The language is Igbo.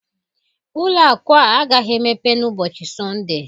Ụlọ akụ a agaghị emepe n'ụbọchị Sọnde